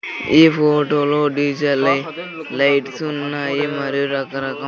ఈ ఫోటోలో డీజే లై లైట్స్ ఉన్నాయి మరియు రకరకం.